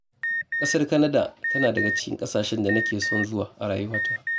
Ƙasar Canada tana daga cikin ƙasashen da nake son zuwa a rayuwata.